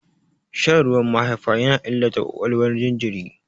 Shan ruwan mahaifa yana illata ƙwaƙwalwar jinjirin.